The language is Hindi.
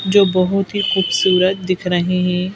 जो बहुत ही खूबसूरत दिख रहे हैं।